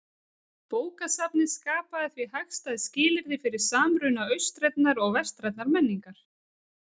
Bókasafnið skapaði því hagstæð skilyrði fyrir samruna austrænnar og vestrænnar menningar.